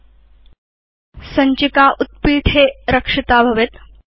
अथ सञ्चिका उत्पीठे रक्षिता भवति